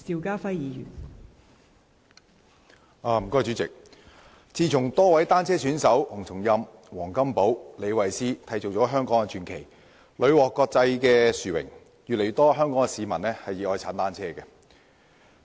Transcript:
代理主席，自從多位單車選手洪松蔭、黃金寶和李慧詩締造香港傳奇，屢獲國際殊榮，越來越多香港市民熱愛踏單車。